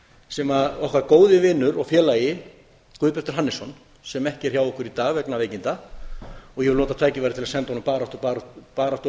sem okkar góði vinur og félagi guðbjartur hannesson sem ekki er hjá okkur í dag vegna veikinda og ég vil nota tækifærið og senda honum baráttu og batakveðjur